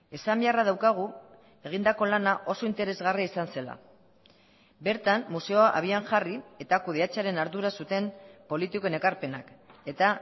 esan beharra daukagu egindako lana oso interesgarria izan zela bertan museoa abian jarri eta kudeatzearen ardura zuten politikoen ekarpenak eta